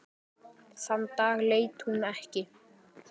Þann dag leit hún ekki.